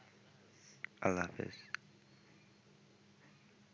আল্লাহ হাফেজ।